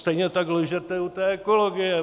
Stejně tak lžete u té ekologie.